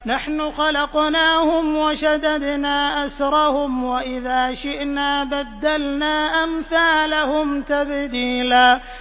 نَّحْنُ خَلَقْنَاهُمْ وَشَدَدْنَا أَسْرَهُمْ ۖ وَإِذَا شِئْنَا بَدَّلْنَا أَمْثَالَهُمْ تَبْدِيلًا